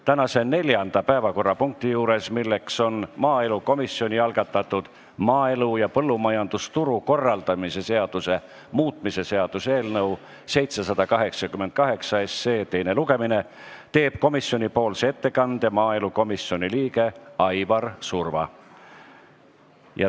Tänase neljanda päevakorrapunkti arutelul, maaelukomisjoni algatatud maaelu ja põllumajandusturu korraldamise seaduse muutmise seaduse eelnõu 788 teisel lugemisel teeb komisjoni ettekande maaelukomisjoni liige Aivar Surva.